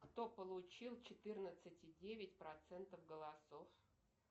кто получил четырнадцать и девять процентов голосов